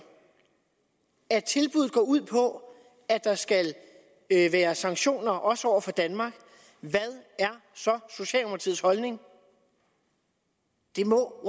at tilbuddet går ud på at der skal være sanktioner også over for danmark hvad er så socialdemokratiets holdning det må